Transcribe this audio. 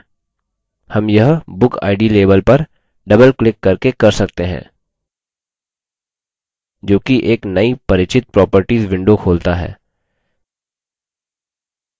हम यह bookid label पर double क्लिक करके कर सकते हैं जोकि एक नई परिचित properties window खोलता है